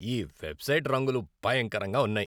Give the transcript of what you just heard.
ఈ వెబ్సైట్ రంగులు భయంకరంగా ఉన్నాయి.